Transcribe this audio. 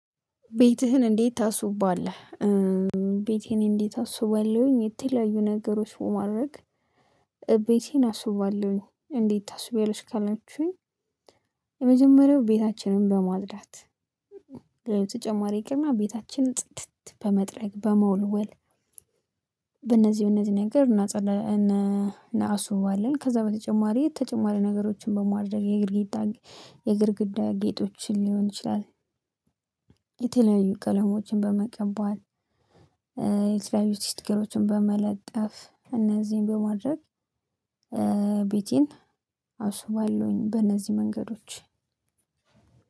ቤትህን እንዴት ታሱባለህ? ቤቴን እንዴት አሱባለሁኝ የተለያዩ ነገሮች በማድረግ እቤቴን አስውባለሁኝ እንዴት ታስዉቢያለሽ ካላችሁኝ? የመጀመሪያው ቤታችንን በማጽዳት ለተጨማሪ ገና ቤታችን ጽድት በመጥረግ በመወልወል በእነዚህ በእነዚህ ነገር እና እናአሱባለን ከዛ በተጨማሪ ተጨማሪ ነገሮችን በማድረግ የግድግዳ የግድግዳ ጌጦችን ሊሆን ይችላል የተለያዩ ቀለሞችን በመቀባት የተለያዩ ስቲከሮችን በመለጠፍ እነዚህን በማድረግ ቤቴን አስዉባለሁኝ። በእነዚህ መንገዶች